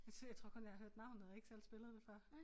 Jeg tror jeg tror kun jeg har hørt navnet og ikke selv spillet det før